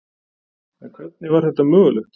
en hvernig var þetta mögulegt